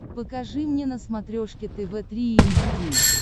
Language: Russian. покажи мне на смотрешке тв три эйч ди